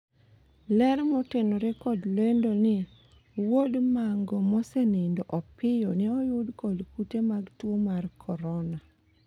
ler motenore kod lendo ni ,wuod Mango mosenindo Opiyo ne oyud kod kute mag tuo mar Korna